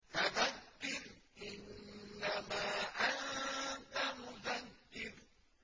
فَذَكِّرْ إِنَّمَا أَنتَ مُذَكِّرٌ